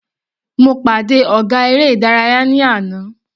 Mo pàdé ọ̀gá eré ìdárayá ní àná.